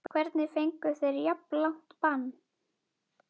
Hvernig fengu þeir jafn langt bann?